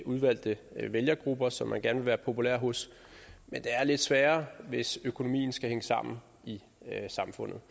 udvalgte vælgergrupper som man gerne vil være populær hos men det er lidt sværere hvis økonomien skal hænge sammen i samfundet